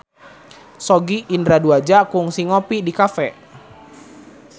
Sogi Indra Duaja kungsi ngopi di cafe